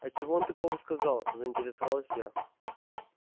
а чего он такого сказал заинтересовалась я